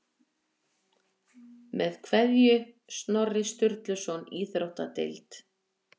Með kveðju, Snorri Sturluson Íþróttadeild